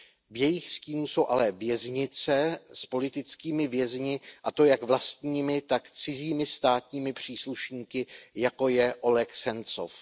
V jejich stínu jsou ale věznice s politickými vězni, a to jak vlastními, tak cizími státními příslušníky, jako je Oleg Sencov.